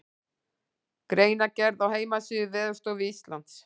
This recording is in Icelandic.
Greinargerð á heimasíðu Veðurstofu Íslands.